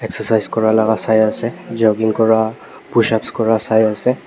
exercise kura laga sai ase jogging kura pushups kura sai ase.